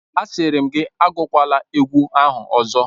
Asịrị m, agụkwala egwu ahụ ọzọ!